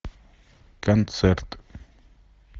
концерт